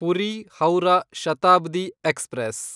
Puri Howrah Shatabdi express